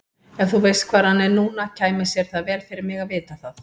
Ef þú veist hvar hann er núna kæmi sér vel fyrir mig að vita það.